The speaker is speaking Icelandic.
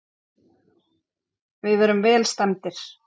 Við erum vel stemmdir